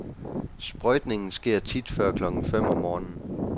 Sprøjtningen sker tit før klokken fem om morgenen.